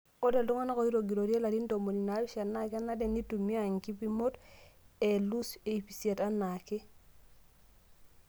Ore iltung'ana ooitogiroitie larin ntomoni naapishana naa kenare neitumia nkipimot e Ius iip isiet anaake.